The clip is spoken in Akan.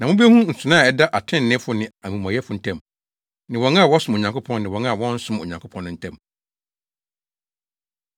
Na mubehu nsonoe a ɛda atreneefo ne amumɔyɛfo ntam, ne wɔn a wɔsom Onyankopɔn ne wɔn a wɔnsom Onyankopɔn no ntam.